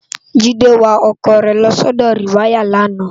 Jide wá òkò re lò si òdò riwàyá làná